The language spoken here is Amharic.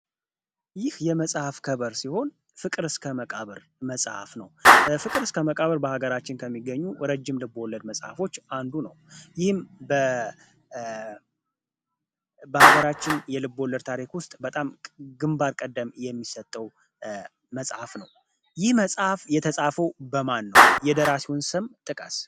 ይህ የመጽሐፍ ከቨር ሲሆን ፍቅር እስከ መቃብር መፅሀፍ ነው። ፍቅር እስከ መቃብር በሀገራችን ከሚገኙ ረጅም ልቦለድ መጽሐፎች አንዱ ነው። ይህም በሀገራችን የልብ ወለድ ታሪክ ውስጥ በጣም ግንባር ቀደም የሚሰጠው መጽሐፍ ነው። መጽሐፍ የተጻፉ በማን ነው? የደራሲውን ስም ጥቀሰ?